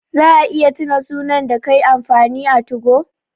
Za a iya tuna sunan da kai amfani a 2go?